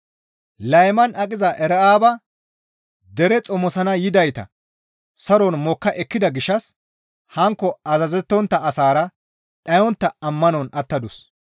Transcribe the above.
Layman aqiza Era7aaba dere xomosana yidayta saron mokka ekkida gishshas hankko azazettontta asaara dhayontta ammanon attadus.